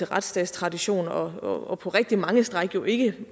retsstatstraditioner og på rigtig mange stræk jo ikke